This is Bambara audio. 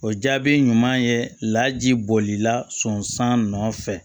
O jaabi ɲuman ye laji bolila sɔn san nɔ fɛ